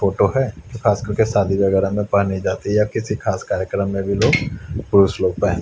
photo है खास कर के शादी वगैरा में पहनी जाती हैं या किसी खास कार्यक्रम में लोग पुरुष लोग पहन--